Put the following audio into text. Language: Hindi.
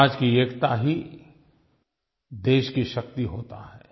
समाज की एकता ही देश की शक्ति होती है